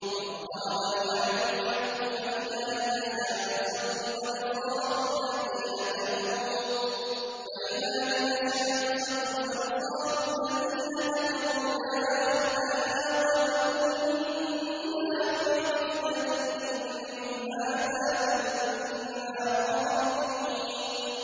وَاقْتَرَبَ الْوَعْدُ الْحَقُّ فَإِذَا هِيَ شَاخِصَةٌ أَبْصَارُ الَّذِينَ كَفَرُوا يَا وَيْلَنَا قَدْ كُنَّا فِي غَفْلَةٍ مِّنْ هَٰذَا بَلْ كُنَّا ظَالِمِينَ